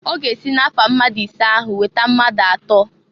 Ọ ga-esi na-afa mmadụ isee ahụ weta mmadụ atọọ.